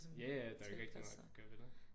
Ja ja der er jo ikke rigtig noget at gøre ved det